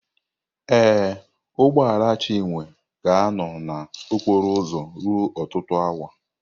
Ee, ụgbọ ala Chinwe ga-anọ na okporo ụzọ ruo ọtụtụ awa.